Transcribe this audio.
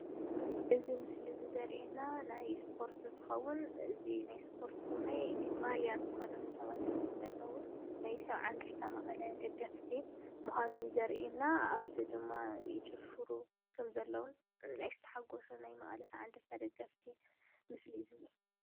እዚ ምስሊ እዚ ዘርእየና ናይ እስፖት እንትከውን እዚ ናይ እስፖርቲ እውናይ ማልያ ዝተከደኑ ሰባት እዮም ዘለዉ፡፡ ናይ ሰብዓ እንድርታ መቐለ ደገፍቲ ምኳኖም እዩ ዘርእየና፡፡ ኣብዚ ድማ ይጭፍሩ ከም ዘለዉ ናይ ዝተሓጎሱ ናይ መቀለ ሰብዓ እድርታ ደገፍቲ ምስሊ እዩ ዝነሄ፡፡